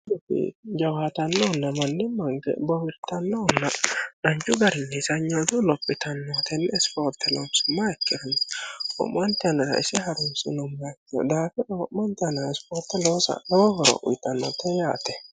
jawaatannoonna mannimanke bowirtannohonna danchu garinni seeyiinyatunni lophitannohu tenni isipoorte loonsumma ikkiro wo'mante yannara ise harunsinommoha ikkiro daafira wo'manka wote ispoorte loosa lowo horo uyitannote yaate.